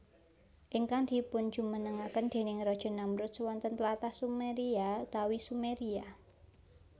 Ingkang dipunjumenengaken déning raja Namrudz wonten tlatah Sumeria utawi Sumeria